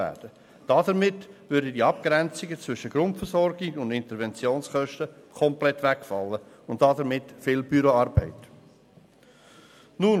Dadurch würde die Abgrenzung zwischen Grundversorgung und Interventionskosten und damit viel Büroarbeit komplett wegfallen.